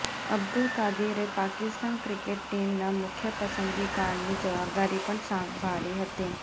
અબ્દુલ કાદિરે પાકિસ્તાન ક્રિકેટ ટીમના મુખ્યપસંદગીકારની જવાબદારી પણ સંભાળી હતી